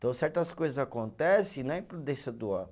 Então, certas coisas acontece não é imprudência do homem